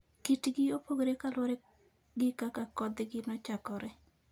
Kitgi opogore kaluwore gi kaka kothgi nochakore.